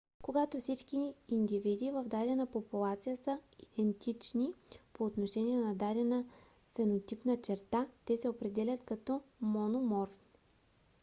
когато всички индивиди в дадена популация са идентични по отношение на дадена фенотипна черта те се определят като мономорфни